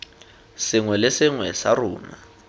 sengwe le sengwe sa rona